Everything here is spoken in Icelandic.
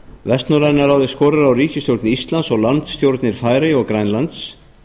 vestnorræna ráðið skorar á ríkisstjórn íslands og landsstjórnir færeyja og grænlands